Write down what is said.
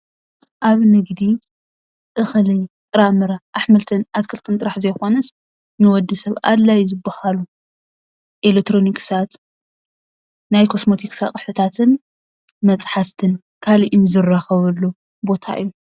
ኣብ ንግዲ እኽሊ ጥረምረ አሕምልትን አትክልትን ጥራሕ ዘይኮኑስ ንወዲሰብ አድላዪ ዝበሃሉ ኤሌክትሮኒክሳት ናይ ኮስምቲክስ አቁሒታትን መፃሕፋትን ካሊእን ዝራኸብሉ ቦታ እዪ ።